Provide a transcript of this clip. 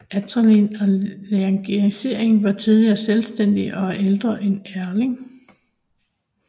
Altenerding og Langengeisling var tidligere selvstændige og er ældre end Erding